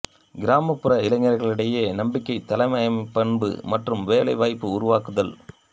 கிராமப்புற இளைநர்களிடையே நம்பிக்கை தலைமைப்பண்பு மற்றும் வேலை வாய்ப்பு உருவக்குதல்